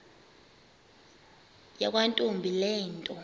yakwantombi le nto